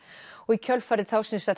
í kjölfarið